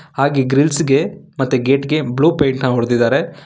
ಹಾಗೆ ಗ್ರಿಲ್ಸ್ ಗೆ ಮತ್ತು ಗೇಟ್ ಗೆ ಬ್ಲೂ ಪೇಂಟ್ ನ ಹೊಡ್ದಿದಾರೆ.